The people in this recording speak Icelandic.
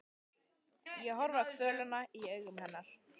Ég horfi á kvölina í augum hennar.